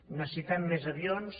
necessitem més avions